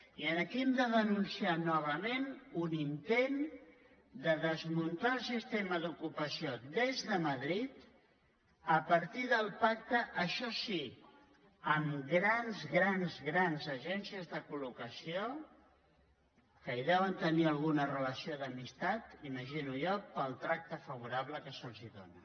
i aquí hem de denunciar novament un intent de desmuntar el sistema d’ocupació des de madrid a partir del pacte això sí amb grans grans grans agències de col·locació que hi deuen tenir alguna relació d’amis·tat imagino jo pel tracte favorable que se’ls dóna